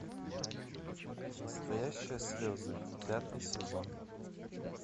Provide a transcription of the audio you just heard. настоящие слезы пятый сезон